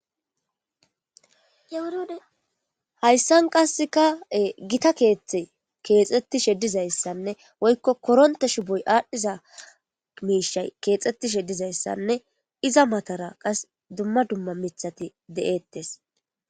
Ewurode hayssan qasseka gita keeththe keexettishe dizayssanne woykko koronte shuboy aadhdhiza miishay keexxettishe dizayssanne iza matara qas dumma dumma mithati de'ettes.